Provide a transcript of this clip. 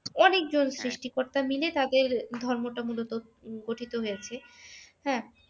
অনেকজন সৃষ্টিকর্তা মিলে তাদের ধর্মটা মূল গঠিত হয়েছে হ্যাঁ